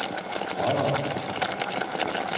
Odder